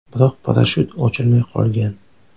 Biroq parashyut ochilmay qolgan.